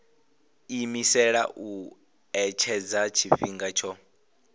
iimisela u etshedza tshifhinga tsho